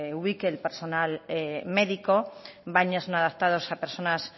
ubique el personal médico baños no adaptados a personas